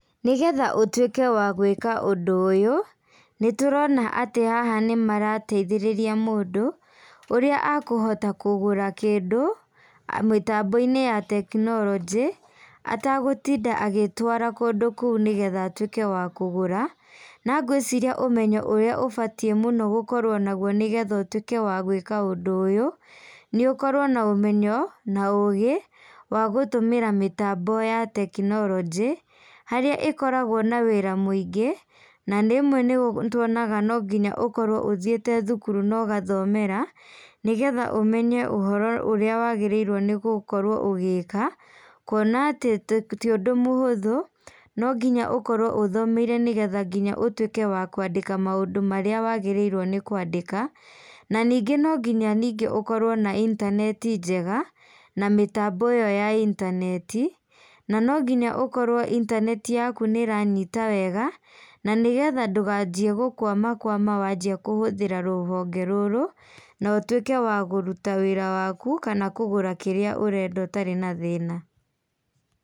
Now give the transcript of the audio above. Nĩgetha ũtuike wa gwĩka ũndũ ũyũ, nĩ tũrona atĩ haha nĩ marateithĩrĩria mũndũ, ũrĩa akũhota kũgũra kĩndũ, mĩtambo-inĩ ya tekinoronjĩ, atagũtinda agĩtwara kũndũ kũu nĩgetha atwĩke wa kũgũra. Na ngwĩciria ũmenyo ũrĩa ũbatiĩ mũno gũkorwo naguo nĩgetha ũtwĩke wa gwĩka ũndũ ũyũ, nĩ ũkorwo na ũmenyo na ũgĩ, wa gũtũmĩra mĩtambo ya tekinoronjĩ. Harĩa ĩkoragwo na wĩra mũingĩ, na rimwe nĩ tuonaga no ngĩnya ukorwo ũthiĩte thukuru na ũgathomera, nĩgetha ũmenye ũhoro ũrĩa wagĩrĩirwo nĩ gũkorwo ũgĩka, kuona atĩ ti ũndũ mũhũthũ, no nginya ũkorwo ũthomeire nĩgetha nginya ũtwike wa kwandĩka maũndũ marĩa wagĩrĩirwo nĩ kwandĩka. Na ningĩ no nginya ningĩ ũkorwo na intaneti njega, na mĩtambo ĩyo ya intaneti. Na no nginya ũkorwo intaneti yaku nĩ ĩranyita wega, na nĩgetha ndũkanjie gũkwama kwama wanjĩa kũhũthĩra rũhonge rũrũ, na ũtwĩke wa kũruta wĩra wakũ, kana kũgũra kĩrĩa ũrenda ũtarĩ na thĩna.